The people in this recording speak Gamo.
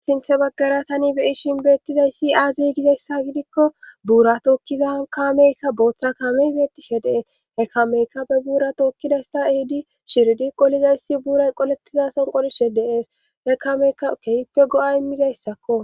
Sinthe baggara tani bei shinbeettizayssi aa ziigizayssa gidikko buura tookkiza kameykka booththa kamey beettishe dees he kameyka be buura tookkidayssa ehidi shiridi qolizayssi buuray qolettiza son qolishe deees he kameyka kehippe go'a immizayssakko.